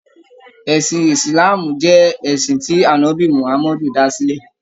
Ẹ̀sìn Ìsìláàmù jẹ́ ẹ̀sìn tí ànọ́bì Muhammadu dá sílẹ̀.